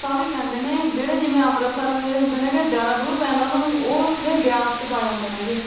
ਤਾਂ ਵੀ ਪੈਂਦੇ ਨੇ ਜਿਹੜੇ ਜਿਵੇਂ ਅੰਮ੍ਰਿਤਸਰ ਦੇ ਹੁੰਦੇ ਨੇ ਗੇ ਜ਼ਿਆਦਾ ਦੂਰ ਪੈ ਜਾਂਦਾ ਉਨ੍ਹਾਂ ਨੂੰ ਉਹ ਉੱਥੇ ਬਿਆਸ ਚ ਪਾ ਜਾਂਦੇ ਨੇ।